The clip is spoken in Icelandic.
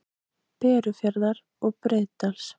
Berufjarðar og Breiðdals.